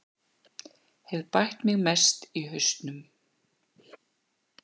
Hef bætt mig mest í hausnum